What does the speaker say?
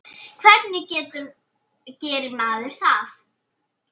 Hvernig gerir maður það?